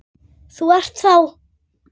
Þú ert þá.?